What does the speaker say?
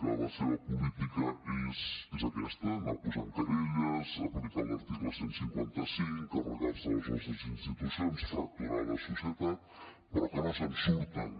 que la seva política és aquesta anar posant querelles aplicar l’article cent i cinquanta cinc carregar se les nostres institucions fracturar la societat però no se’n surten